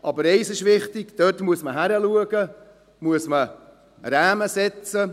Eines ist wichtig, dort muss man hinschauen, Rahmen setzen.